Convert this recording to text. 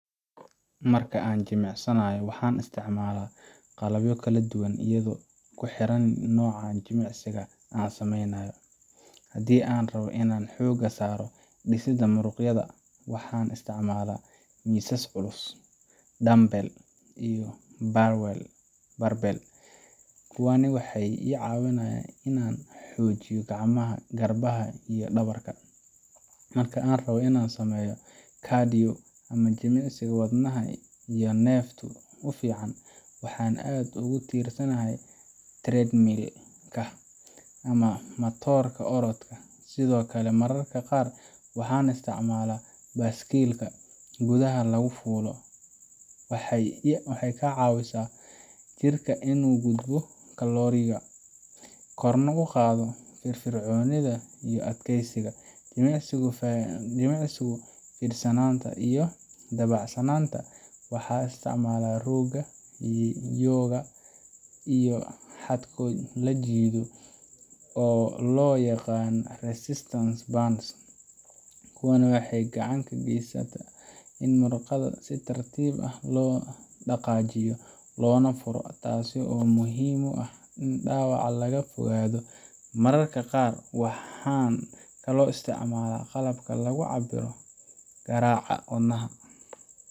Marka aan jimicsanayo, waxaan isticmaalaa qalabyo kala duwan iyadoo ku xiran nooca jimicsiga aan samaynayo. Haddii aan rabbo inaan xoogga saaro dhisidda muruqyada, waxaan isticmaalaa miisas culus, dumbbell, iyo barbell. Kuwani waxay i caawiyaan inaan xoojiyo gacmaha, garbaha, iyo dhabarka. Marka aan rabo inaan sameeyo cardio ama jimicsi wadnaha iyo neefta u fiican, waxaan aad ugu tiirsanahay treadmill ka ama matooradka orodka, sidoo kale mararka qaar waxaan isticmaalaa baaskiilka gudaha lagu fuulo. Waxay ka caawisaa jirka in uu gubo kalooriyo, korna u qaado firfircoonida iyo adkaysiga. Jimicsiyada fidsanaanta iyo dabacsanaanta, waxaan isticmaalaa rooga yoga ga iyo xadhko la jiido oo loo yaqaan resistance bands. Kuwani waxay gacan ka geystaan in murqaha si tartiib ah loo dhaqaajiyo loona furo, taasoo muhiim u ah in dhaawac laga fogaado. Mararka qaar waxaan kaloo isticmaalaa qalabka lagu cabbiro garaaca wadnaha